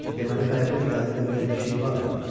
Deməli qayığı idarə eləməyə bir şey vardı.